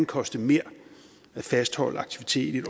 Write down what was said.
koste mere at fastholde aktivitet i